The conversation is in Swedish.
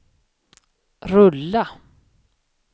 rulla